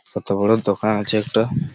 কত বড়ো দোকান আছে একটা।